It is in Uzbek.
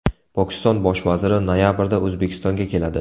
Pokiston bosh vaziri noyabrda O‘zbekistonga keladi .